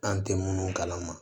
An tɛ munnu kalama